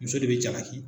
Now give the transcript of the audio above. Muso de bɛ jalaki